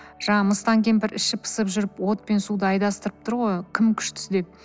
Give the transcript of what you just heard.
жаңағы мыстан кемпір іші пысып жүріп от пен суды айдастырып тұр ғой кім күштісі деп